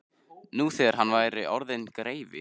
Nú þegar hann væri orðinn greifi.